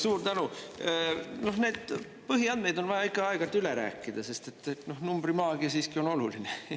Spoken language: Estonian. Suur tänu, neid põhiandmeid on vaja ikka aeg-ajalt üle rääkida, sest numbrimaagia on oluline.